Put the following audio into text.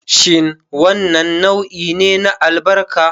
Shin wannan nau'i ne na albarka?